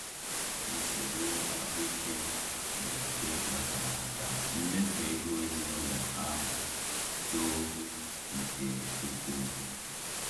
Nsogbu ahụike mberede kpatara ka mmefu ego ezinụlọ ahụ too nke ukwuu.